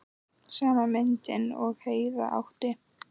Sama myndin og Heiða átti.